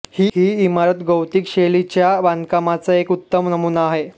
ही इमारत गॉथिक शैलीच्या बांधकामाचा एक उत्तम नमूना आहे